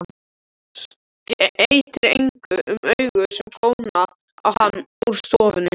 Skeytir engu um augu sem góna á hann úr stofunni.